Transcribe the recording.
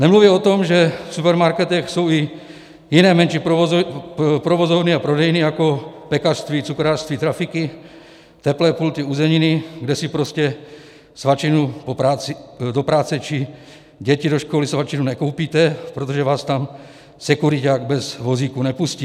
Nemluvě o tom, že v supermarketech jsou i jiné, menší provozovny a prodejny, jako pekařství, cukrářství, trafiky, teplé pulty, uzeniny, kde si prostě svačinu do práce či děti do školy svačinu nekoupíte, protože vás tam sekuriťák bez vozíku nepustí.